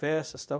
Festas e tal.